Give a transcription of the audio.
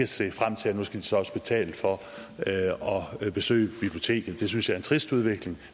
se frem til at nu skal de så også betale for at besøge biblioteket det synes jeg er en trist udvikling